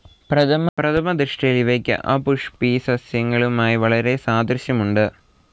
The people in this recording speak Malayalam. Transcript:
പ്രഥമ ദൃഷ്ടിയിൽ ഇവയ്ക്ക് അപുഷ്പിസസ്യങ്ങളുമായി വളരെ സാദൃശ്യമുണ്ട്.